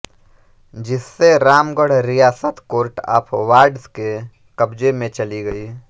जिससे रामगढ़ रियासत court of wards के कब्जे में चली गयी